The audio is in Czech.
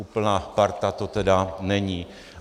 Úplná parta to tedy není.